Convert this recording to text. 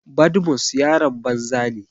Badmus yaron banza ne.